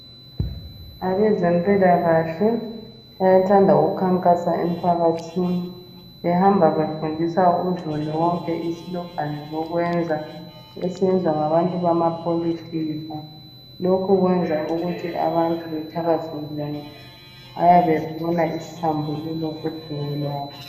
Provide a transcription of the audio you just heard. Abezimpilakahle bayathanda ukukhankasa emphakathini behamba befundisa uzulu wonke isilogani zokwenza, esiyezwa ngabantu bamapholitika. Lokhu kwenza ukuthi abantu bethakazelele bayabe befuna isambululo kudumo lwabo.